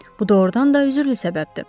Bu doğurdan da üzürlü səbəbdir.